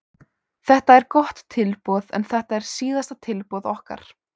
Þetta er gott tilboð en þetta er síðasta tilboð okkar.